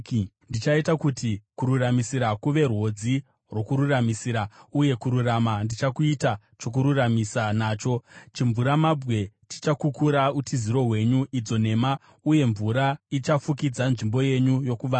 Ndichaita kuti kururamisira kuve rwodzi rwokururamisira, uye kururama ndichakuita chokururamisa nacho; chimvuramabwe chichakukura utiziro hwenyu, idzo nhema, uye mvura ichafukidza nzvimbo yenyu yokuvanda.